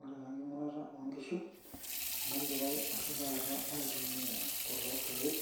Ore taa enking'urata oonkishu negirai oshi taata aitumia kulo keek